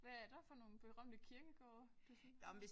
Hvad er der for nogle berømte kirkegårde du sådan har